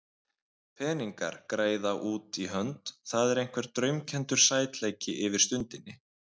Peningar, greiða út í hönd, það er einhver draumkenndur sætleiki yfir stundinni.